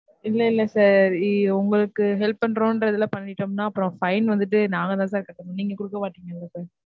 இல்ல, இல்ல sir உங்களுக்கு help பண்றோமரதுல பண்ணிட்டோம்னா அப்பறம் fine வந்துட்டு நாங்க தான் கட்டனும், நீங்க குடுக்க மாட்டீங்கல்ல sir.